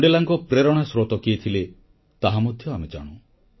ମଣ୍ଡେଲାଙ୍କ ପାଇଁ ପ୍ରେରଣା ସ୍ରୋତ କିଏ ଥିଲେ ତାହା ମଧ୍ୟ ଆମେ ଜାଣୁ